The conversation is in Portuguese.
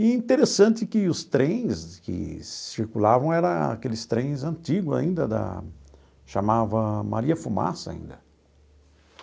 E é interessante que os trens que circulavam era aqueles trens antigo ainda da, chamava Maria Fumaça ainda.